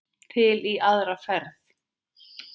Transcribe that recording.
Til í aðra ferð.